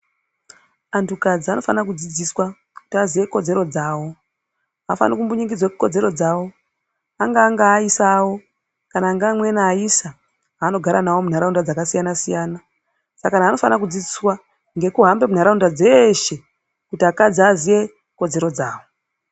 Antu kadzi anofana kudzidziswa kuti aziye kodzero dzavo hafaniri kumbunyikidzwa kodzero dzavo. angaa ngaisa avo kana ngeamweni aisa aanogara navo munharaunda dzakasiyana-siyana. Saka antu anofanira kudzidziswa ngekuhambe munharaunda dzeshe kuti akadzi aziye kodzero dzavo.